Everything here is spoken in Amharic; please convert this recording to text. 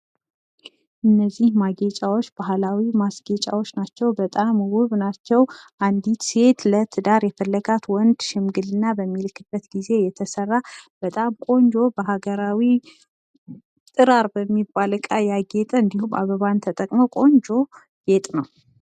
እነዚህ ማስጌጫዎች ባህላዊ ማስጌጫዎች ናቸው። በጣም ውብ ናቸው። አንድ ሴት ለትዳር የፈለጋት ሽምግልና በሚልክበት ጊዜ የተሰራ በጣም ቆንጆ በሀገራዊ ጥራር በሚባል እቃ ያጌጠ እንዲሁም አበባን ተጠቅመው ቆንጆ ጌጥ ነው።